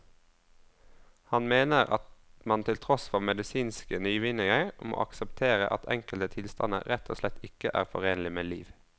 Han mener at man til tross for medisinske nyvinninger må akseptere at enkelte tilstander rett og slett ikke er forenlig med liv.